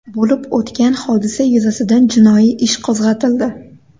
Bo‘lib o‘tgan hodisa yuzasidan jinoiy ish qo‘zg‘atildi.